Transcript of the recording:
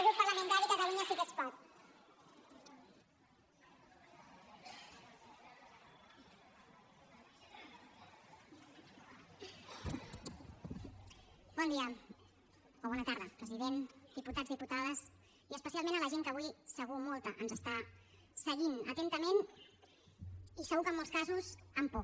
bon dia o bona tarda president diputats diputades i especialment a la gent que avui segur molta ens està seguint atentament i segur que en molts casos amb por